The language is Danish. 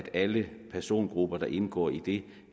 alle persongrupper der indgår i det